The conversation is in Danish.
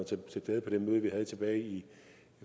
til stede på det møde vi havde tilbage